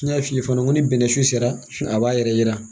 N y'a f'i ye fana ko bɛnnɛ sun sera a b'a yɛrɛ yira